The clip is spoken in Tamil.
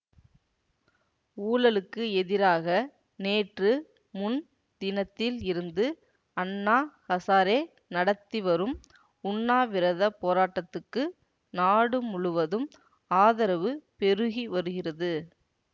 ஊழலுக்கு எதிராக நேற்று முன் தினத்தில் இருந்து அண்ணா ஹசாரே நடத்தி வரும் உண்ணாவிரத போராட்டத்துக்கு நாடு முழுவதும் ஆதரவு பெருகி வருகிறது